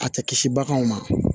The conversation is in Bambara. A tɛ kisi baganw ma